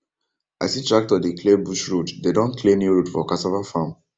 i see tractor dey clear bush road dem don clear new road for cassava farm